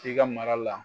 I ka mara la